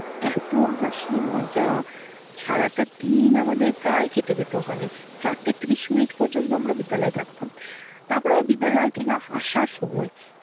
এতো হাসি মজা সারাটা দিন আমাদের প্রায় কেটে যেত ওখানে। চারটে ত্রিশ মিনিট পর্যন্ত আমরা বিদ্যালয়ে থাকতাম। তারপর আমরা বিদ্যালয় থেকে আসার সময়